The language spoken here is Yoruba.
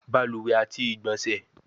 Baluwe ati igbonse